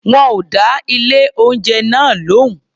Wọn ò dá ilé-oúnjẹ náà lóhùn.